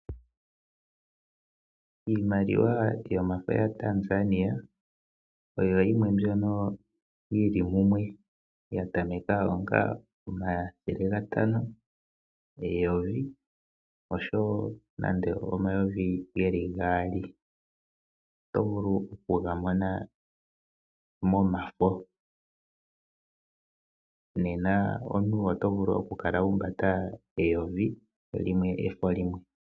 Iimaliwa yomafo yaTanzania, oyo yimwe mbyono yi li mumwe ya tameka pomathele gatano, eyovi nosho wo omayovi gaali. Oto vulu okugamona momafo. Nena omuntu oto vulu okukala wa humbata eyovi, efo ashike limwe.